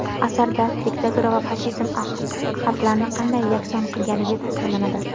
Asarda diktatura va fashizm xalqlarni qanday yakson qilganligi tasvirlanadi.